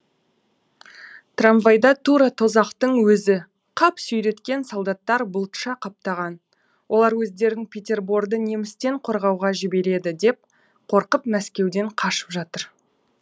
трамвайда тура тозақтың өзі қап сүйреткен солдаттар бұлтша қаптаған олар өздерін петерборды немістен қорғауға жібереді деп қорқып мәскеуден қашып жатыр